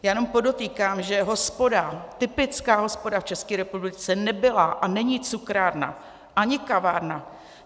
Já jenom podotýkám, že hospoda, typická hospoda v České republice, nebyla a není cukrárna ani kavárna.